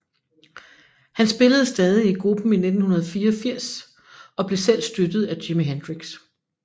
Han spillede stadig i gruppen 1984 og blev selv støttet af Jimi Hendrix